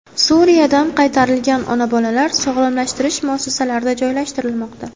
Suriyadan qaytarilgan ona-bolalar sog‘lomlashtirish muassasalarida joylashtirilmoqda.